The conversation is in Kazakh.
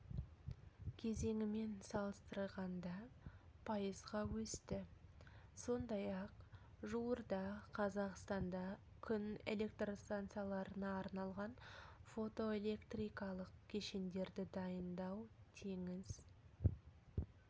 кезеңімен салыстырғанда пайызға өсті сондай-ақ жуырда қазақстанда күн электр станцияларына арналған фотоэлектрикалық кешендерді дайындау теңіз